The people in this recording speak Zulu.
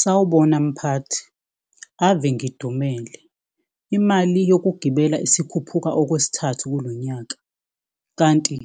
Sawubona mphathi, ave ngidumele. Imali yokugibela isikhuphuka okwesithathu kulo nyaka, kanti